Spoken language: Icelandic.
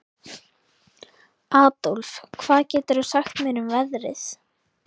Adólf, hvað geturðu sagt mér um veðrið?